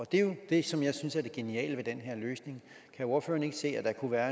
det er jo det som jeg synes er det geniale ved den her løsning kan ordføreren ikke se at der kunne være